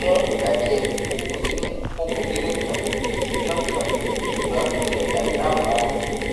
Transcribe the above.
fún ìgbà díẹ mo ti ní kókó kékeré kan ṣùgbọn kan ṣùgbọn kò tiẹ dà mí láàmú rárá